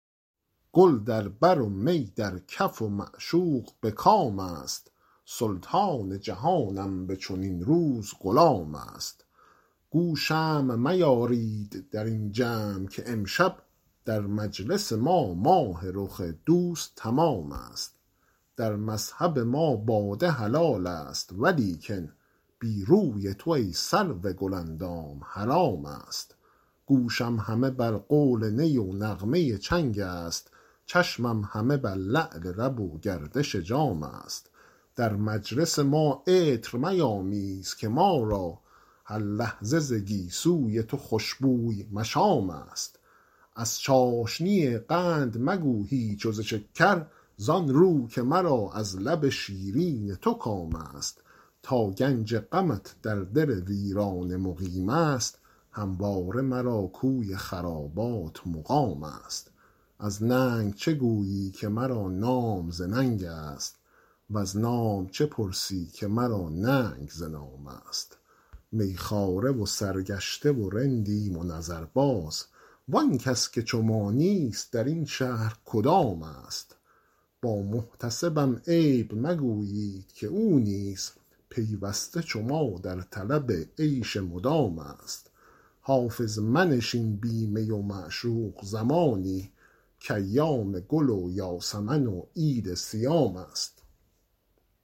گل در بر و می در کف و معشوق به کام است سلطان جهانم به چنین روز غلام است گو شمع میارید در این جمع که امشب در مجلس ما ماه رخ دوست تمام است در مذهب ما باده حلال است ولیکن بی روی تو ای سرو گل اندام حرام است گوشم همه بر قول نی و نغمه چنگ است چشمم همه بر لعل لب و گردش جام است در مجلس ما عطر میامیز که ما را هر لحظه ز گیسو ی تو خوش بوی مشام است از چاشنی قند مگو هیچ و ز شکر زآن رو که مرا از لب شیرین تو کام است تا گنج غمت در دل ویرانه مقیم است همواره مرا کوی خرابات مقام است از ننگ چه گویی که مرا نام ز ننگ است وز نام چه پرسی که مرا ننگ ز نام است می خواره و سرگشته و رندیم و نظرباز وآن کس که چو ما نیست در این شهر کدام است با محتسبم عیب مگویید که او نیز پیوسته چو ما در طلب عیش مدام است حافظ منشین بی می و معشوق زمانی کایام گل و یاسمن و عید صیام است